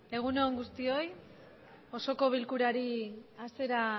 egun on guztioi osoko bilkurari hasiera